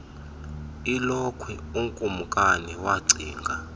ilokhwe ukumnkani wacinga